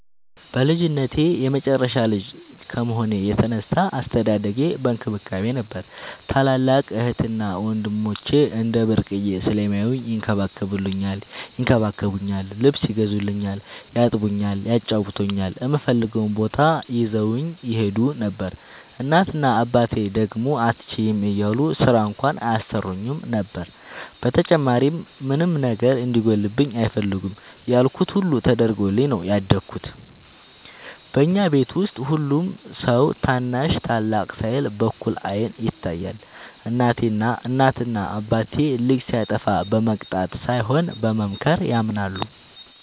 በልጅነቴ የመጨረሻ ልጅ ከመሆኔ የተነሳ አስተዳደጌ በእንክብካቤ ነበር። ታላላቅ እህትና ወንድሞቸ እንደ ብርቅየ ስለሚያውኝ ይንከባከቡኛል ,ልብስ ይገዙልኛል ,ያጥቡኛል ,ያጫውቱኛል, እምፈልገውም ቦታ ይዘውኝ ይሄዱ ነበር። እናት እና አባቴ ደግሞ አትችይም እያሉ ስራ እንኳን አያሰሩኝም ነበር። በተጨማሪም ምንም ነገር እንዲጎልብኝ አይፈልጉም ያልኩት ሁሉ ተደርጎልኝ ነው ያደኩት። በኛ ቤት ውስጥ ሁሉም ሰው ታናሽ ታላቅ ሳይል በእኩል አይን ይታያል። እናት እና አባቴ ልጅ ሲያጠፋ በመቅጣት ሳይሆን በመምከር ያምናሉ።